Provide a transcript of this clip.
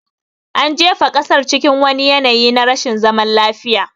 An jefa ƙasar cikin wani yanayi na rashin zaman lafiya